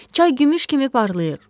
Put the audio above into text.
Çay gümüş kimi parlayır.